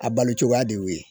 A balocogoya de y'o ye.